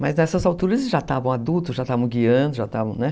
Mas nessas alturas eles já estavam adultos, já estavam guiando, já estavam, né?